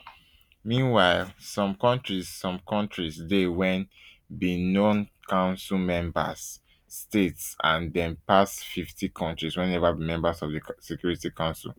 meanwhile some kontris some kontris dey wey benoncouncil member statesand dem pass fifty kontris wey neva be members of di security council